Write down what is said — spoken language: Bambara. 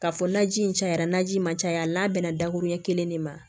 Ka fɔ naji in cayara naji ma caya n'a bɛnna dakuruɲɛ kelen de ma